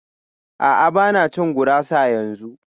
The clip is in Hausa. A'a ba na cin gurasa yanzu